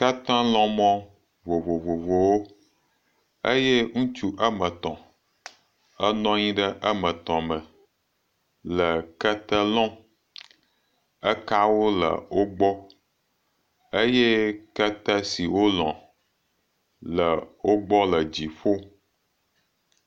Ketelɔ̃mɔ vovovowo. Eye ŋutsu ame etɔ̃ enɔ anyi ɖe ame tɔ̃ me le kete lɔ̃m. Ekawo le wogbɔ eye kete si wolɔ̃ le wogbɔ le dziƒo